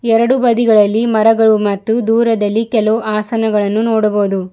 ಎರಡು ಬದಿಗಳಲ್ಲಿ ಮರಗಳು ಮತ್ತು ದೂರದಲ್ಲಿ ಕೆಲವು ಆಸನಗಳನ್ನು ನೋಡಬಹುದು.